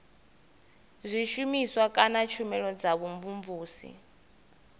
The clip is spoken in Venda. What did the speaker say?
zwishumiswa kana tshumelo dza vhumvumvusi